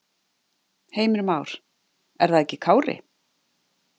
Heimir Már: Er það ekki Kári?